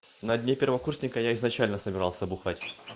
на дне первокурсника я изначально собирался бухать